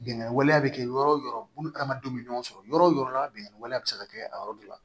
Bingani waleya bɛ kɛ yɔrɔ yɔrɔ bulu ni adamadenw bɛ ɲɔgɔn sɔrɔ yɔrɔ o yɔrɔ la bɛnnen waleya bɛ se ka kɛ a yɔrɔ dɔ la